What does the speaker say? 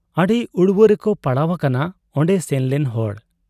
ᱟᱹᱰᱤ ᱩᱲᱣᱟᱹ ᱨᱮᱠᱚ ᱯᱟᱲᱟᱣ ᱟᱠᱟᱱᱟ ᱚᱱᱰᱮ ᱥᱮᱱᱞᱮᱱ ᱦᱚᱲ ᱾